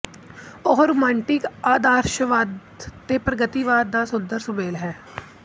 ਉਹ ਰੋਮਾਂਟਿਕ ਆਆਦਰਸ਼ਵਾਦ ਤੇ ਪ੍ਰਗਤੀਵਾਦ ਦਾ ਸੁੰਦਰ ਸੁਮੇਲ ਸੀ